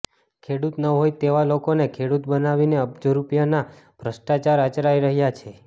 ખેડૂત ન હોય તેવા લોકોને ખેડૂત બનાવીને અબજો રૂપિયાના ભ્રષ્ટાચાર આચરાઈ રહ્યાં છે